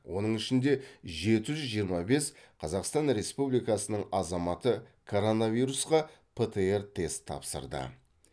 оның ішінде жеті жүз жиырма бес қазақстан республикасының азаматы коронавирусқа птр тест тапсырды